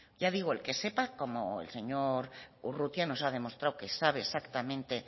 ya digo el que sepa como el señor urrutia que nos ha demostrado que sabe exactamente